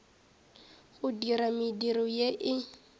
go dira mediro ye e